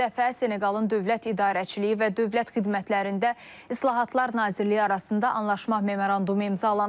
Bu dəfə Seneqalın dövlət idarəçiliyi və dövlət xidmətlərində islahatlar Nazirliyi arasında anlaşma memorandumu imzalanıb.